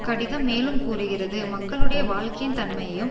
கடிதம் மேலும் கூறுகிறது மக்களுடைய வாழ்க்கையின் தன்மையும்